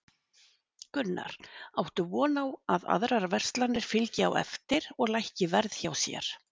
Gunnar: Áttu von á að aðrar verslanir fylgi á eftir og lækki verð hjá sér?